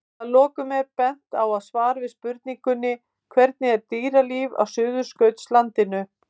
Að lokum er bent á svar við spurningunni Hvernig er dýralíf á Suðurskautslandinu?